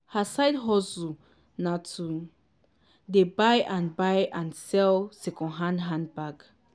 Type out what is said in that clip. her side hustle na to dey buy and buy and sell secondhand handbag.